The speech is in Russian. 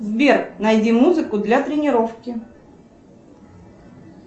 сбер найди музыку для тренировки